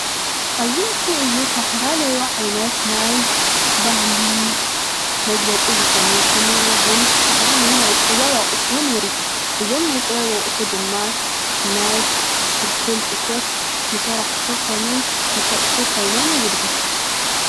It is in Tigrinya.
ኣብዚ ምስሊ እዚ ዝተፈላለዩ ዓይነት ናይ ባህሊ መግለፂ ዝኮኑ ከምኡ እዉን ዝተፈላለዩ ናይ ጥበብ ኣቁሑ ንርኢ. እዞም ናይ ጥበብ ናይ ብፍልፍል እቶት ንሰራሕቲ ኮኑ ንሸየጥቲ ኮይኖም የገልግሉ::